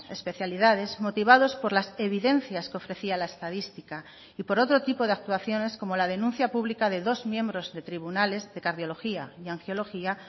especialidades motivados por las evidencias que ofrecía la estadística y por otro tipo de actuaciones como la denuncia pública de dos miembros de tribunales de cardiología y angiología